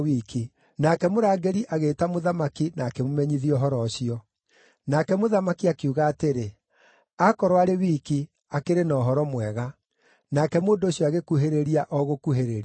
Nake mũrangĩri agĩĩta mũthamaki na akĩmũmenyithia ũhoro ũcio. Nake mũthamaki akiuga atĩrĩ, “Akorwo arĩ wiki, akĩrĩ na ũhoro mwega.” Nake mũndũ ũcio agĩkuhĩrĩria o gũkuhĩrĩria.